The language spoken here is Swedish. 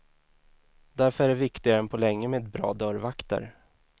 Därför är det viktigare än på länge med bra dörrvakter.